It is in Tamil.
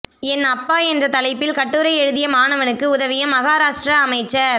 என் அப்பா என்ற தலைப்பில் கட்டுரை எழுதிய மாணவனுக்கு உதவிய மகாராஷ்டிர அமைச்சர்